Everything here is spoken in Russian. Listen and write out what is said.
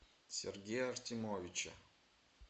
сергея артемовича